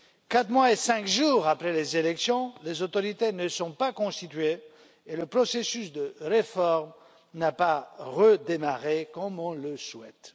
Quatre mois et cinq jours après les élections, les autorités ne sont pas constituées et le processus de réforme n'a pas redémarré comme on le souhaite.